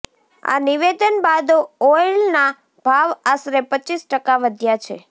આ નિવેદન બાદ ઓઇલના ભાવ આશરે પચીસ ટકા વધ્યાં છે